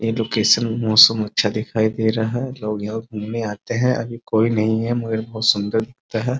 ये लोकेशन मौसम अच्छा दिखाई दे रहा है | लोग यहाँ घूमने आते हैं | अभी कोई नहीं है मगर बहुत सुन्दर दिखता है ।